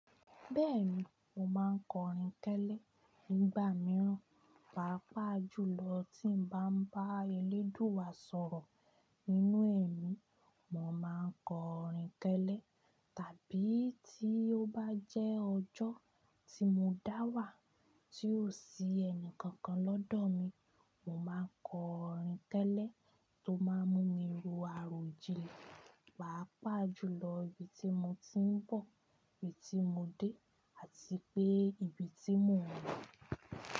Bẹ́ẹ̀ni, mo máa ń kọrin kẹ́lẹ́ nígbà mìíràn, pàápàá jùlọ tí n bá ń bá eléèdúà sọ̀rọ̀. Nínú ẹ̀mí, mo máa ń kọrin kẹ́lẹ́. Tàbí tí ó bá jẹ́ ọjọ́ tí mo dá wà tí ò sí ẹnì kankan lọ́dọ̀ mi, mo máa kọ orin kẹ́lẹ̀ tó máa ń mú mi ro àròjinlẹ̀. Pàápàá jùlọ ibi tí mo ti ń bọ̀, ibi tí mo dé àti pé ibi tí mo lo.